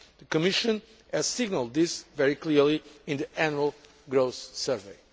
The Commission has signalled this very clearly in the Annual Growth Survey.